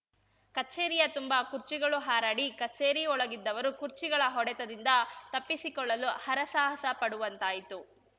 ಕಚೇರಿಯ ತುಂಬ ಕುರ್ಚಿಗಳು ಹಾರಾಡಿ ಕಚೇರಿಯೊಳಗಿದ್ದವರು ಕುರ್ಚಿಗಳ ಹೊಡೆತದಿಂದ ತಪ್ಪಿಸಿಕೊಳ್ಳಲು ಹರಸಾಹಸ ಪಡುವಂತಾಯಿತು